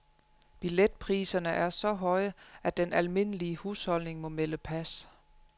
Billetpriserne er så høje, at den almindelige husholdning må melde pas.